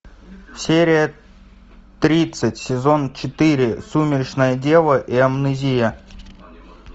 серия тридцать сезон четыре сумеречная дева и амнезия